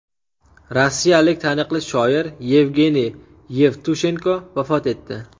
Rossiyalik taniqli shoir Yevgeniy Yevtushenko vafot etdi.